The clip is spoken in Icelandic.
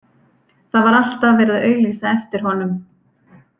Það var alltaf verið að auglýsa eftir honum.